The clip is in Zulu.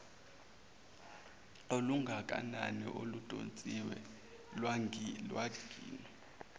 olungakanani oludonsiwe lwagwinywa